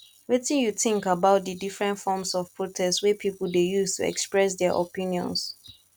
wetin you think about di different forms of protest wey people dey use to express dia opinions